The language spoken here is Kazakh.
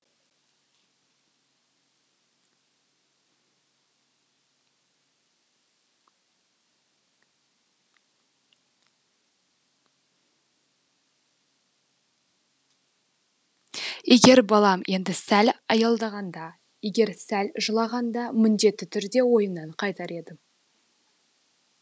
егер балам енді сәл аялдағанда егер сәл жылағанда міндетті түрде ойымнан қайтар едім